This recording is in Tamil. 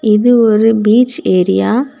இது ஒரு பீச் ஏரியா.